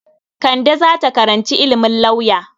Kande za ta karanci ilimin lauya.